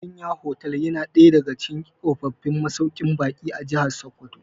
Giginya hotel ya na daya daga cikin tsofaffin masauƙin baƙi a Jahar Sokoto